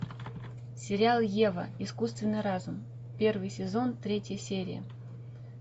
сериал ева искусственный разум первый сезон третья серия